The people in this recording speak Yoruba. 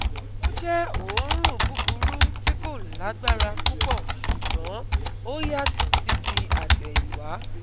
Ó jẹ́ òórùn búburú tí kò lágbára púpọ̀ ṣùgbọ́n ó yàtọ̀ sí ti àtẹ̀yìnwá